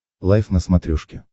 лайф на смотрешке